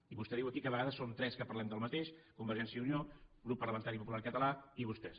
i vostè diu aquí que a vegades som tres que parlem del mateix convergència i unió grup parlamentari popular català i vostès